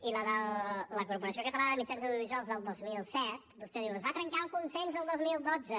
i a la de la corporació catalana de mitjans audiovisuals del dos mil set vostè diu es va trencar el consens el dos mil dotze